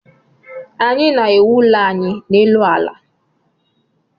Anyị na-ewu ụlọ anyị n'elu ala